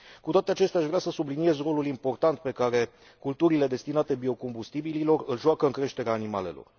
Cu toate acestea, aș vrea să subliniez rolul important pe care culturile destinate biocombustibililor îl joacă în creșterea animalelor.